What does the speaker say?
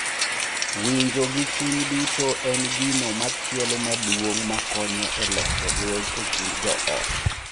Winjo gi chuny duto en gino machielo maduong’ ma konyo e loso lweny e kind joot.